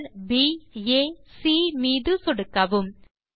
புள்ளிகள் ப் ஆ சி மீது சொடுக்கவும்